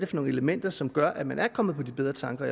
for nogle elementer som gør at man er kommet på bedre tanker